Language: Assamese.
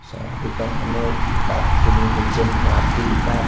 চাহ দোকানখনৰ কাপখিনি হৈছে মাটিৰ কাপ ।